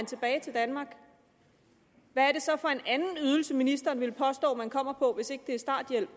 tilbage til danmark hvad det så for en anden ydelse ministeren vil påstå man kommer på hvis ikke det er starthjælp